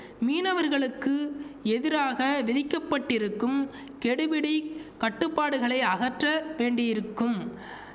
மீனவர்களுக்கு எதிராக விதிக்கப்பட்டிருக்கும் கெடுபிடிக் கட்டுப்பாடுகளை அகற்ற வேண்டியிருக்கும்